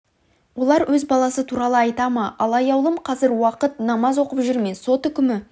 олар өз баласы туралы айта ма ал аяулым қазір уақыт намаз оқып жүр ме сот үкімі